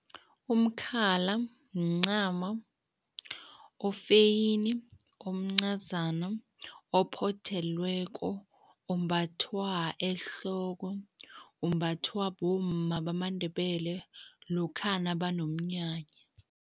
Umkhala mncamo ofeyini, omncazana, ophothelweko, ombathwa ehloko. Umbathwa bomma bamandebele lokha nabanomnyanya.